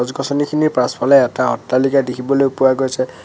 পাচনিখিনিৰ পাছফালে এটা অট্টালিকা দেখিবলৈ পোৱা গৈছে।